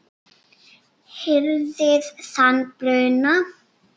hirðir þann bruna